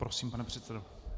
Prosím, pane předsedo.